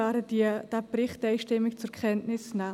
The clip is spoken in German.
Wir werden den Bericht einstimmig zur Kenntnis nehmen.